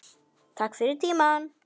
Takk fyrir tímann.